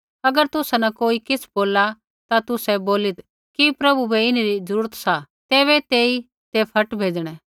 अगर तुसा न कोई किछ़ बोलला ता तुसै बोलीत् कि प्रभु बै इन्हरी ज़रूरत सा तैबै तेई ते फट भेज़णै